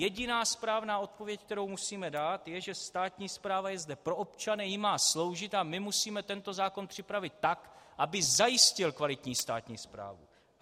Jediná správná odpověď, kterou musíme dát, je, že státní správa je zde pro občany, jim má sloužit a my musíme tento zákon připravit tak, aby zajistil kvalitní státní správu.